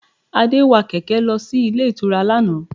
Adé wa kẹ̀kẹ́ lọ sí ilé ìtura lánàá